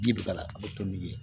Ji bɛ k'a la a bɛ kɛ n'u ye